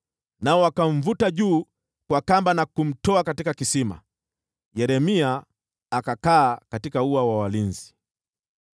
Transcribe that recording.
nao wakamvuta juu kwa kamba na kumtoa katika kisima. Yeremia akakaa katika ua wa walinzi.